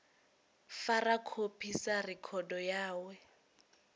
fara khophi sa rekhodo yawe